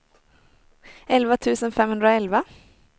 elva tusen femhundraelva